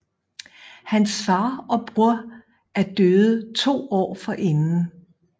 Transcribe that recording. Hans far og bror er døde to år forinden